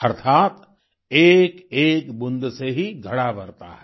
अर्थात् एक एक बूँद से ही घड़ा भरता है